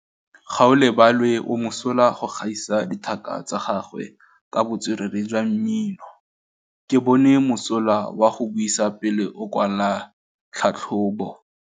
Gaolebalwe o mosola go gaisa dithaka tsa gagwe ka botswerere jwa mmino. Ke bone mosola wa go buisa pele o kwala tlhatlhobô.